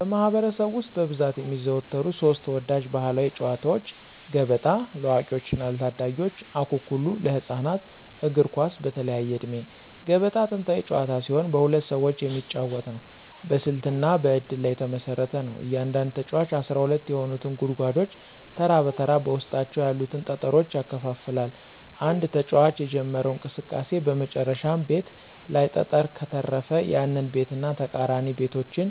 በማኅበረሰብ ውስጥ በብዛት የሚዘወተሩ ሦስት ተወዳጅ ባሕላዊ ጨዋታዎች፦ ገበጣ (ለአዋቂዎችና ለታዳጊዎች) ፣አኩኩሉ (ለህፃናት)፣ እግር ኳስ (በተለያየ ዕድሜ)። ገበጣ ጥንታዊ ጨዋታ ሲሆን በሁለት ሰዎች የሚጫወት ነው። በስልትና በእድል ላይ የተመሰረተ ነው። እያንዳንዱ ተጫዋች 12 የሆኑትን ጉድጓዶች ተራ በተራ በውስጣቸው ያሉትን ጠጠሮች ያከፋፍላል። አንድ ተጫዋች የጀመረው እንቅስቃሴ በመጨረሻው ቤት ላይ ጠጠር ከተረፈ፣ ያንን ቤትና ተቃራኒ ቤቶችን